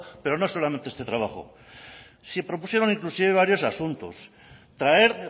pero no solamente este trabajo se propusieron inclusive varios asuntos traer